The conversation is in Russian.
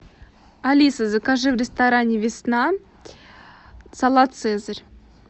алиса закажи в ресторане весна салат цезарь